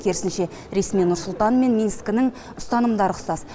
керісінше ресми нұр сұлтан мен минскінің ұстанымдары ұқсас